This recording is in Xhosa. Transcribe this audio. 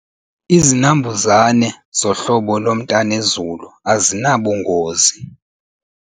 Izinambuzane zohlobo lomntanezulu azinabungozi.